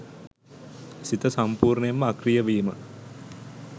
සිත සම්පූර්ණයෙන්ම අක්‍රීය වීම.